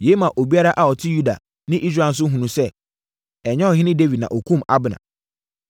Yei maa obiara a ɔte Yuda ne Israel no hunuu sɛ, ɛnyɛ ɔhene Dawid na ɔkumm Abner.